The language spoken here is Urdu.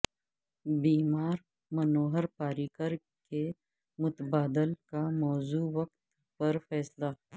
بیمار منوہر پاریکر کے متبادل کا موزوں وقت پر فیصلہ